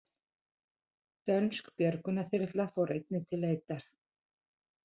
Dönsk björgunarþyrla fór einnig til leitar